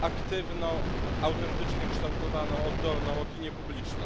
aktywną, autentycznie kształtowaną oddolną opinię publiczną.